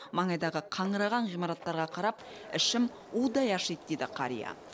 маңайдағы қаңыраған ғимараттарға қарап ішім удай ашиды дейді қария